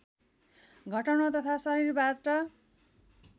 घटाउन तथा शरीरबाट